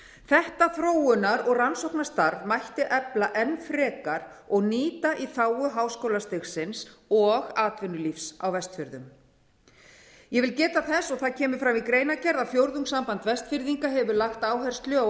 þetta þróunar og rannsóknastarf mætti efla enn frekar og nýta í þágu háskólastigsins og atvinnulífs á vestfjörðum ég vil geta þess og það kemur fram í greinargerð að fjórðungssamband vestfirðinga hefur lagt áherslu á